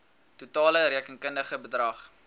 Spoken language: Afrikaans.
totale rekenkundige bedrag